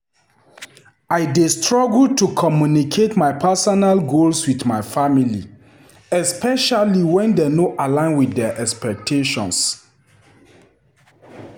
I dey struggle to communicate my personal goals with my family, especially when dey no align with their expectations.